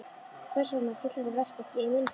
Hvers vegna féll þetta verk ekki í minn hlut?